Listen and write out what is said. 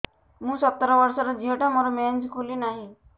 ମୁ ସତର ବର୍ଷର ଝିଅ ଟା ମୋର ମେନ୍ସେସ ଖୁଲି ନାହିଁ